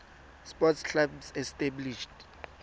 sports clubs established